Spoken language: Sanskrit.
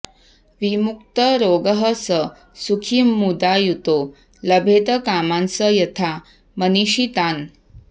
विमुक्तरोगः स सुखी मुदा युतो लभेत कामान्स यथा मनीषितान्